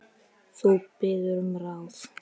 Þú biður um ráð.